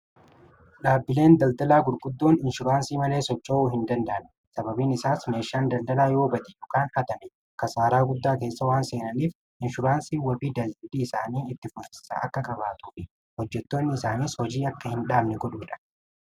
dhaabbileen daldalaa gurguddoon inshuraansii malee sochoo'uu hin dandaanne sababiin isaas meeshaan daldalaa yoobatii dhukaan hatame kasaaraa guddaa keessa waan seenaniif inshuraansii warrii daajadii isaanii itti fusissa akka kabaatufi hojjetoonni isaaniis hojii akka hin dhaamne godhuudha